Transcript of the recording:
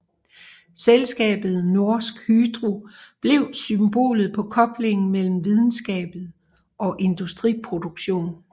Selskabet Norsk Hydro blev symbolet på koblingen mellem videnskab og industriproduktion